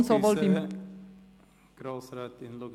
Entschuldigung, Grossrätin Luginbühl.